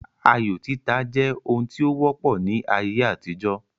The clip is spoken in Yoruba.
Ayo títa jẹ́ ohun tí ó wọ́pọ̀ ní ayé àtijọ́